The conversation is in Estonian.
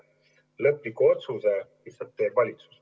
Lihtsalt lõpliku otsuse teeb valitsus.